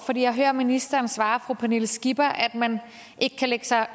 jeg hører ministeren svare fru pernille skipper at man ikke kan lægge sig